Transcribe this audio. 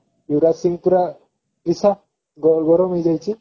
ୟୁବରାଜ ସିଂହ ପୁରା ଗରମ ହେଇଯାଇଛି